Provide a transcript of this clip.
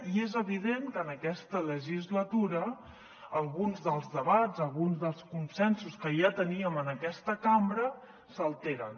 i és evident que en aquesta legislatura alguns dels debats alguns dels consensos que ja teníem en aquesta cambra s’alteren